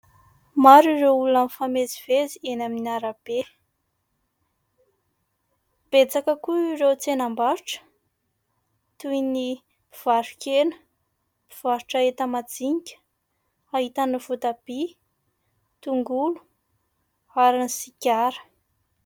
Maro ireo olona mifamezivezy eny amin'ny arabe. Betsaka koa ireo tsenam-barotra toy ny mpivaro-kena, mpivarotra enta-madinika, ahitana voatabia, tongolo ary ny sigara.